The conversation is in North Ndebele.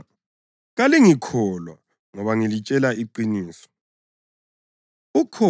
Kodwa kalingikholwa ngoba ngilitshela iqiniso!